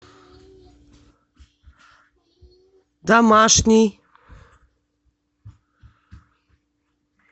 домашний